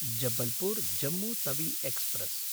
Jabalpur Jammu Tawi express